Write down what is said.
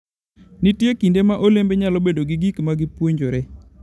Nitie kinde ma olembe nyalo bedo gi gik ma gipuonjore.